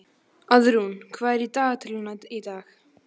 Auðrún, hvað er í dagatalinu í dag?